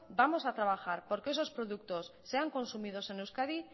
vamos a trabajar por que esos productos sean consumidos en euskadi